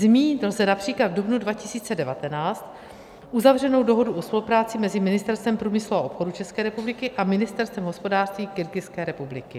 Zmínit lze například v dubnu 2019 uzavřenou dohodu o spolupráci mezi Ministerstvem průmyslu a obchodu České republiky a Ministerstvem hospodářství Kyrgyzské republiky.